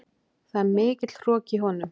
Það er mikill hroki í honum.